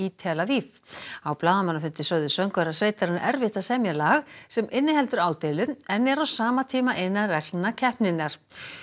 tel Aviv á blaðamannafundi sögðu söngvarar sveitarinnar erfitt að semja lag sem inniheldur ádeilu en er á sama tíma innan reglna keppninnar